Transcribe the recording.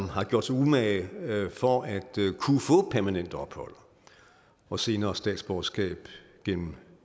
har gjort sig umage for at kunne få permanent ophold og senere statsborgerskab gennem